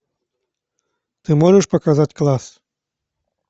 ты можешь показать класс